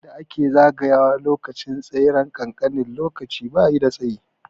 Inda ake zagaya wa lokacin tseren kankanin lokaci bayi da tsayi